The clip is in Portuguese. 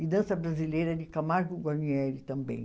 E dança brasileira de Camargo Guarnieri também.